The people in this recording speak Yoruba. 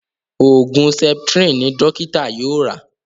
Oògùn septrin ní dókítà yóò rà.